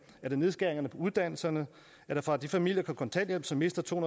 er det nedskæringerne på uddannelserne er det fra de familier på kontanthjælp som mister to